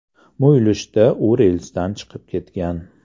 Muyulishda u relsdan chiqib ketgan.